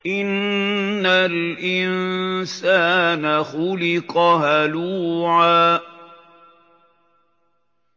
۞ إِنَّ الْإِنسَانَ خُلِقَ هَلُوعًا